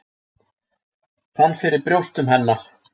Fann fyrir brjóstum hennar.